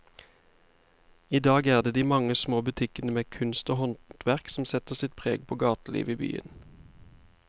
I dag er det de mange små butikkene med kunst og håndverk som setter sitt preg på gatelivet i byen.